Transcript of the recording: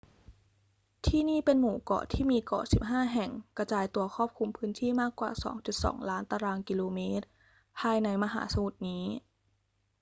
ที่นี่เป็นหมู่เกาะที่มีเกาะ 15 แห่งกระจายตัวครอบคลุมพื้นที่มากกว่า 2.2 ล้านตารางกิโลเมตรภายในมหาสมุทรนี้